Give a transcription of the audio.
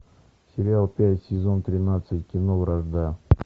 сериал пять сезон тринадцать кино вражда